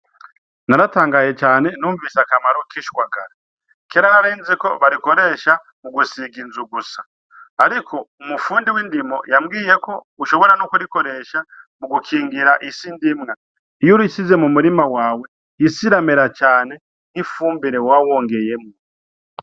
Naratangaye cane numvise akamaro k'ishwagara. Kera nari nzi ko barikoresha mu gusiga inzu gusa. Ariko umufundi w'indimo yambwiye ko ushobora no kurikoresha mu gukingira isi ndimwa. Iyo urishize mu murima wawe, isi iramera cane nk'ifumbire woba wongeyemwo.